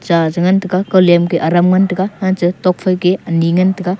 cha te ngan taiga ko lemke aram ngan taiga tok phai te ani ngan tai ga.